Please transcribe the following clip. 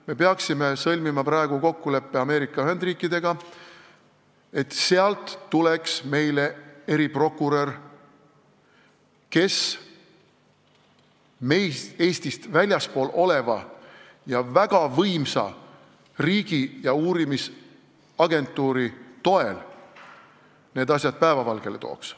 Me peaksime sõlmima praegu kokkuleppe Ameerika Ühendriikidega, et sealt tuleks meile appi eriprokurör, kes Eestist väljaspool olijana ning väga võimsa riigi uurimisagentuuri toel need asjad päevavalgele tooks.